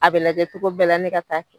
A bɛ lajɛ cogo bɛɛ ne ka taa'a kɛ